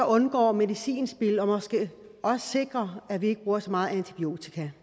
undgår medicinspild og måske også sikrer at vi ikke bruger så meget antibiotika